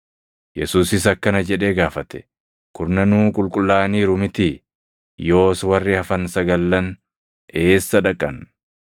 Yesuusis akkana jedhee gaafate; “Kurnanuu qulqullaaʼaniiru mitii? Yoos warri hafan sagallan eessa dhaqan?